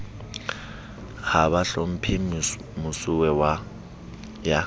ha ba hlomphe mosuwe ya